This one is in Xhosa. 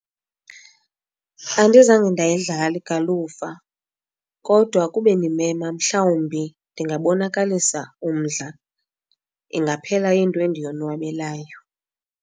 Andizange ndayidlala igalufa kodwa kuba endimema mhlawumbi ndingabonakalisa umdla. Ingaphela iyinto endiyonwabelayo.